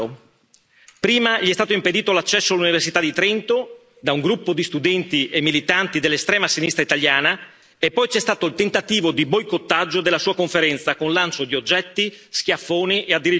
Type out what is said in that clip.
Prima gli è stato impedito l'accesso all'Università di Trento da un gruppo di studenti e militanti dell'estrema sinistra italiana, e poi c'è stato il tentativo di boicottaggio della sua conferenza con lancio di oggetti, schiaffoni e addirittura pugni.